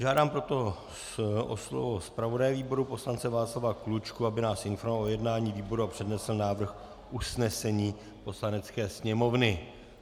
Žádám proto o slovo zpravodaje výboru poslance Václava Klučku, aby nás informoval o jednání výboru a přednesl návrh usnesení Poslanecké sněmovny.